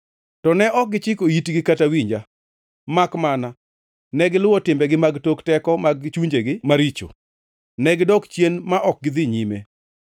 To ne ok gichiko itgi kata winja; makmana, negiluwo timbegi mag tok teko mag chunjegi maricho. Negidok chien ma ok gidhi nyime.